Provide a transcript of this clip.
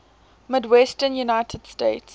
midwestern united states